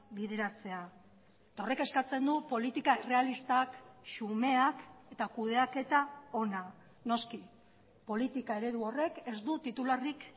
bideratzea eta horrek eskatzen du politika errealistak xumeak eta kudeaketa ona noski politika eredu horrek ez du titularrik